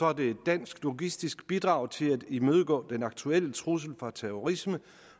er det et dansk logistisk bidrag til at imødegå den aktuelle trussel fra terrorisme